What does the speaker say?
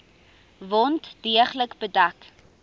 wond deeglik bedek